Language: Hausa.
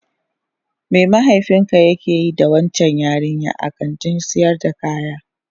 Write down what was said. Me mahaifinka yake yi da waccan yarinyar a kantin sayar da kaya?